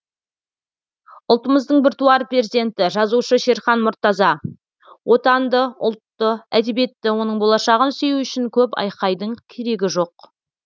ұлтымыздың біртуар перзенті жазушы шерхан мұртаза отанды ұлтты әдебиетті оның болашағын сүю үшін көп айқайдың керегі жоқ